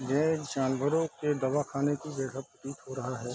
यह एक जानवरों के दवाखाने की जगह हो रहा है।